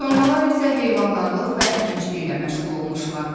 Sonralar isə heyvandarlıq və əkinçiliklə məşğul olmuşlar.